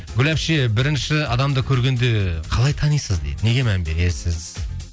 гүл әпше бірінші адамды көргенде қалай танисыз дейді неге мән бересіз